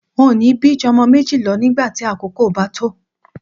N ò ní bí ju o̩mo̩ méjì lo̩ nígbà tí àkókò bá tó